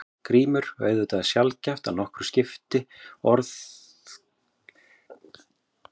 GRÍMUR: Auðvitað er sjaldgæft að nokkru skipti hvort orð berast mánuði fyrr eða seinna.